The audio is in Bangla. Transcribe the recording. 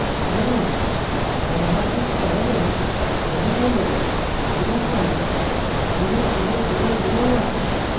ধরুন convergence tolerance level হল 000001